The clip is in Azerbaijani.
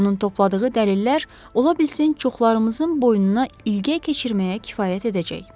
Onun topladığı dəlillər ola bilsin çoxlarımızın boynuna ilgək keçirməyə kifayət edəcək.